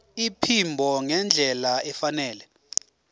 iphimbo ngendlela efanele